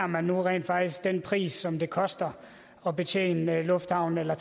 man nu rent faktisk tager den pris som det koster at betjene lufthavnen eller